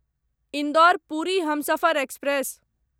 Indore Puri Humsafar express